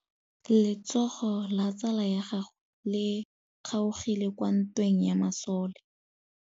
Letsôgô la tsala ya gagwe le kgaogile kwa ntweng ya masole.